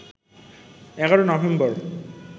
১১ November